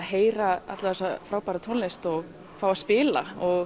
heyra alla þessa frábæru tónlist og fá að spila og